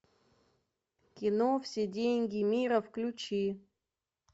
кино все деньги мира включи